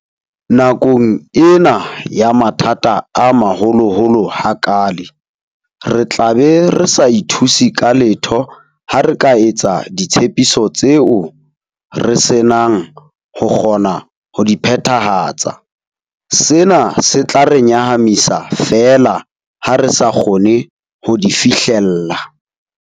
Nakong ena ya mathata a maholoholo ha kaale, re tlabe re sa ithuse ka letho ha re ka etsa ditshepiso tseo re senang ho kgona ho di phethahatsa, sena se tla re nyahamisa feela ha re sa kgone ho di fihlella.